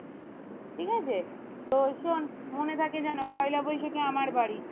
ঠিক আছে তো শোন মনে থাকে যেন পয়লা বৈশাখে আমার বাড়ি